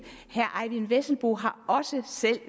fru